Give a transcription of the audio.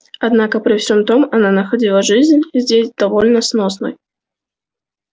однако при всем том она находила жизнь здесь довольно сносной